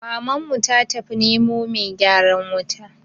Mamanmu ta tafi nemo mai gyaran wuta